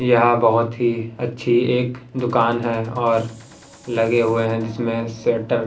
यहां बहुत ही अच्छी एक दुकान है और लगे हुए हैं जिसमें शटर --